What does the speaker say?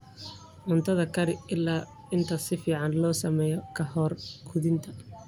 Cuntada kari ilaa inta si fiican loo sameeyo ka hor quudinta.